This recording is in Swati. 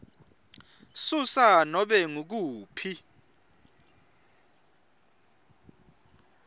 susa nobe ngukuphi